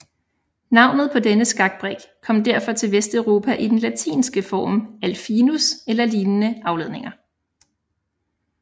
Navnet på denne skakbrik kom derfor til Vesteuropa i den latinske form alfinus eller lignende afledninger